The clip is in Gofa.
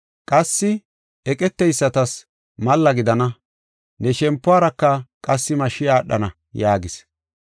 Qassi eqeteysatas malla gidana. Ne shempuwaraka qassi mashshi aadhana” yaagis.